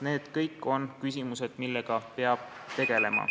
Need kõik on küsimused, millega peab tegelema.